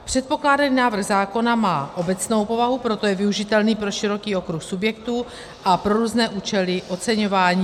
Předkládaný návrh zákona má obecnou povahu, proto je využitelný pro široký okruh subjektů a pro různé účely oceňování.